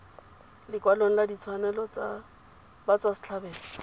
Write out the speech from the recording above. lekwalong la ditshwanelo tsa batswasetlhabelo